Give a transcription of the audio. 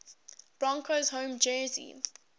broncos home jersey